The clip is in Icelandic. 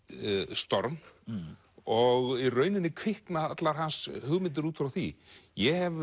storm og í rauninni kvikna allar hans hugmyndir út frá því ég hef